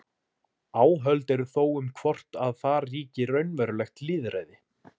Áhöld eru þó um hvort að þar ríki raunverulegt lýðræði.